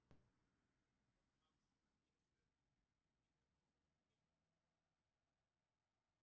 Þorláks var Gissur sem líka bjó á Núpi og var sýslumaður Ísafjarðarsýslu.